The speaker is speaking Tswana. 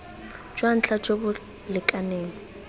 jwa ntlha jo bo lekaneng